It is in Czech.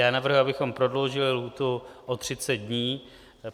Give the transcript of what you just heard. Já navrhuji, abychom prodloužili lhůtu o 30 dní.